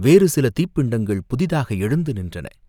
வேறு சில தீப்பிண்டங்கள் புதிதாக எழுந்து நின்றன.